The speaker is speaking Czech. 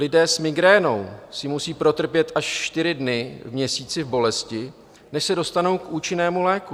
Lidé s migrénou si musí protrpět až čtyři dny v měsíci v bolesti, než se dostanou k účinnému léku.